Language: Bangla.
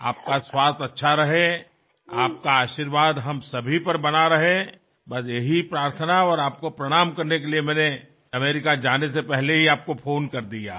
আপনি সুস্থ থাকুন আপনার আশীর্বাদ আমাদের সকলের ওপর বর্ষিত হোক ব্যাস্ এই প্রার্থনাটুকু জানাতে ও আপনাকে প্রণাম জানাতেই আমি আমেরিকা যাত্রার আগে আপনাকে ফোন করছি